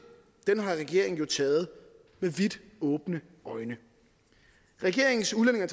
har regeringen jo taget med vidt åbne øjne regeringens udlændinge